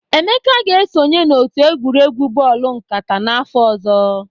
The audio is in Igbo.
Emeka ga-esonye n'otu egwuregwu bọọlụ nkata n'afọ ọzọ.